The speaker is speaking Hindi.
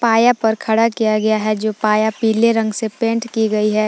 पाया पर खड़ा किया गया है जो पाया पीले रंग से पेंट की गई है।